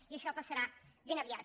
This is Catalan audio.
i això passarà ben aviat